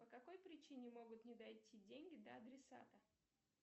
по какой причине могут не дойти деньги до адресата